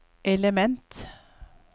element